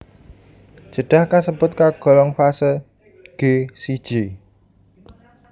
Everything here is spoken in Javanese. Jedah kasebut kagolong fase G siji